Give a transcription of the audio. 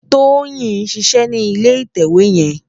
Toyin n ṣiṣè ni ilé itèwé yèn